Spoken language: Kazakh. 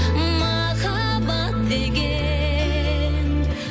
махаббат деген